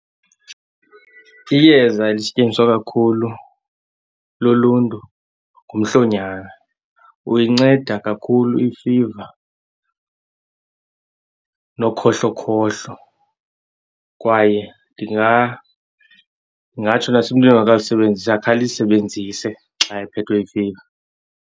Iyeza elisetyenziswa kakhulu luluntu ngumhlonyana. Uyinceda kakhulu ifiva nokhohlokhohlo kwaye ndingatsho nasemntwini ongakalisebenzisi akakhe alisebenzise xa ephethwe yifiva.